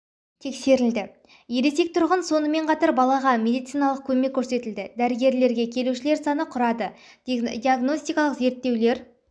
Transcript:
тексерілді ересек тұрғын сонымен қатар балаға медициналық көмек көрсетілді дәрігерлерге келушілер саны құрады диагностикалық зерттеулер